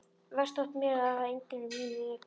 Verst þótti mér að það var enginn á mínu reki.